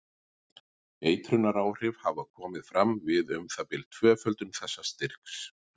Eitrunaráhrif hafa komið fram við um það bil tvöföldun þessa styrks.